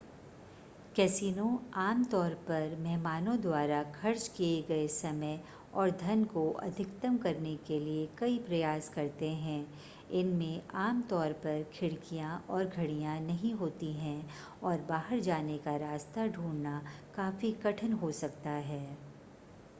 casino आमतौर पर मेहमानों द्वारा खर्च किए गए समय और धन को अधिकतम करने के लिए कई प्रयास करते हैं इसमें आमतौर पर खिड़कियां और घड़ियां नहीं होती हैं और बाहर जाने का रास्ता ढूंढना काफी कठिन हो सकता है